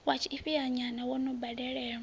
wa tshifhinhanyana wo no badelwaho